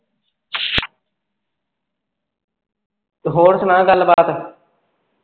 ਹੋਰ ਸੁਣਾ ਗੱਲ ਬਾਤ